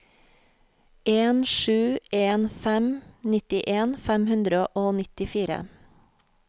en sju en fem nittien fem hundre og nittifire